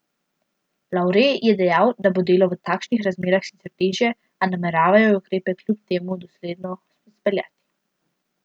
Lavre je dejal, da bo delo v takšnih razmerah sicer težje, a nameravajo ukrepe kljub temu dosledno izpeljati.